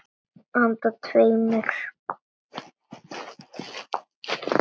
Handa tveimur